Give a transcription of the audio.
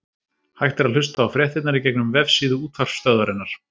Hægt er að hlusta á fréttirnar í gegnum vefsíðu útvarpsstöðvarinnar.